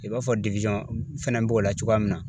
I b'a fɔ fɛnɛ b'o la cogoya min na